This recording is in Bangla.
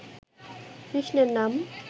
কৃষ্ণের নাম